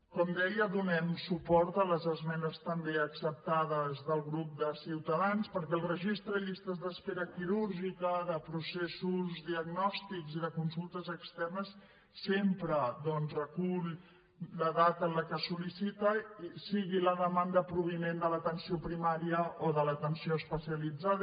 com deia donem suport a les esmenes també acceptades del grup de ciutadans perquè el registre de llistes d’espera quirúrgiques de processos diagnòstics i de consultes externes sempre doncs recull la data en la que es sol·licita sigui la demanda provinent de l’atenció primària o de l’atenció especialitzada